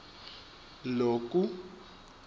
loku